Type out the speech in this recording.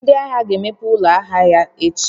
Ndị ahịa ga-emepe ụlọ ahịa ha echi?